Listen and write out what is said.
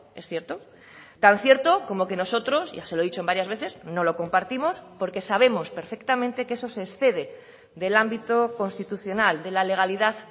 es cierto tan cierto como que nosotros ya se lo he dicho en varias veces no lo compartimos porque sabemos perfectamente que eso se excede del ámbito constitucional de la legalidad